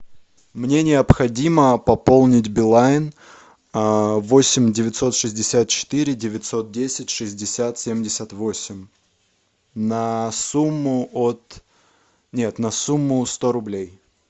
мне необходимо пополнить билайн восемь девятьсот шестьдесят четыре девятьсот десять шестьдесят семьдесят восемь на сумму от нет на сумму сто рублей